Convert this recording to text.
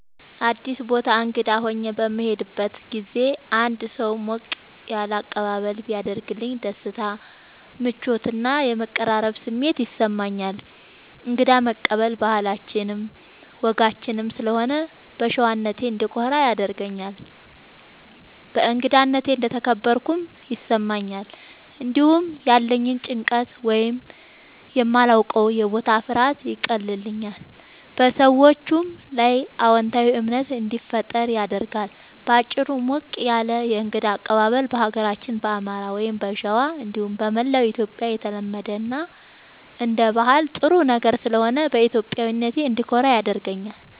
አዲስ ቦታ እንግዳ ሆኜ በምሄድበት ጊዜ አንድ ሰው ሞቅ ያለ አቀባበል ቢያደርግልኝ ደስታ፣ ምቾት እና የመቀራረብ ስሜት ይሰማኛል። እንግዳ መቀበል ባህላችንም ወጋችንም ስለሆነ በሸዋነቴ እንድኮራ ያደርገኛል። በእንግዳነቴ እንደተከበርኩም ይሰማኛል። እንዲሁም ያለኝን ጭንቀት ወይም የማላዉቀዉ የቦታ ፍርሃት ያቀልልኛል፣ በሰዎቹም ላይ አዎንታዊ እምነት እንዲፈጠር ያደርጋል። በአጭሩ፣ ሞቅ ያለ የእንግዳ አቀባበል በሀገራችን በአማራ(ሸዋ) እንዲሁም በመላዉ ኢትዮጽያ የተለመደ እና አንደ ባህል ጥሩ ነገር ስለሆነ በኢትዮጵያዊነቴ እንድኮራ ያደርገኛል።